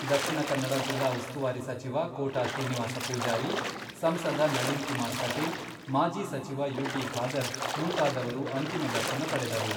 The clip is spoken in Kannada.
ದಕ್ಷಿಣ ಕನ್ನಡ ಜಿಲ್ಲಾ ಉಸ್ತುವಾರಿ ಸಚಿವ ಕೋಟಾ ಶ್ರೀನಿವಾಸ ಪೂಜಾರಿ, ಸಂಸದ ನಳಿನ್ ಕುಮಾರ್ ಕಟೀಲ್, ಮಾಜಿ ಸಚಿವ ಯು.ಟಿ ಖಾದರ್ ಮುಂತಾದವರು ಅಂತಿಮ ದರ್ಶನ ಪಡೆದರು.